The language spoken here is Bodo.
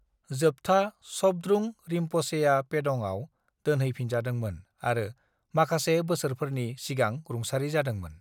जोबथा शबद्रुंग रिम्प'छेया पेडं'आव दोनहैफिनजादोंमोन आरो माखासे बोसोरफोरनि सिगां रुंसारि जादोंमोन।